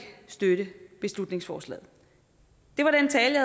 støtte beslutningsforslaget det var den tale